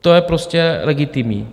To je prostě legitimní.